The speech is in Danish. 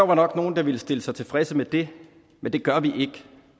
var nok nogle der ville stille sig tilfredse med det men det gør vi ikke